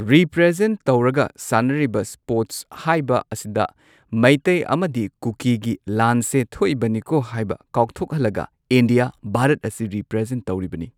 ꯔꯤꯄ꯭ꯔꯖꯦꯟ ꯇꯧꯔꯒ ꯁꯥꯟꯅꯔꯤꯕ ꯁ꯭ꯄꯣꯔꯠꯁ ꯍꯥꯏꯕ ꯑꯁꯤꯗ ꯃꯩꯇꯩ ꯑꯃꯗꯤ ꯀꯨꯀꯤꯒꯤ ꯂꯥꯟꯁꯦ ꯊꯣꯛꯏꯕꯅꯤꯀꯣ ꯍꯥꯏꯕ ꯀꯥꯎꯊꯣꯛꯍꯜꯂꯒ ꯢꯟꯗꯤꯌꯥ ꯚꯥꯔꯠ ꯑꯁꯤ ꯔꯤꯄ꯭ꯔꯖꯦꯟ ꯇꯧꯔꯤꯕꯅꯤ꯫